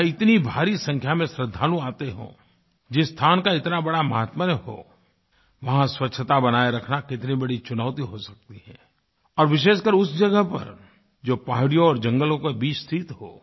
जहाँ इतनी भारी संख्या में श्रद्धालु आते हों जिस स्थान का इतना बड़ा माहात्म्य हो वहाँ स्वच्छता बनाये रखना कितनी बड़ी चुनौती हो सकती है और विशेषकर उस जगह पर जो पहाड़ियों और जंगलों के बीच स्थित हो